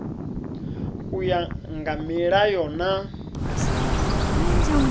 u ya nga milayo na